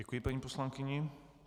Děkuji paní poslankyni.